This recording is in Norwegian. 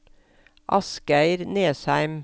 Asgeir Nesheim